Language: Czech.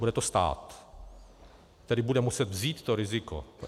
Bude to stát, který bude muset vzít to riziko.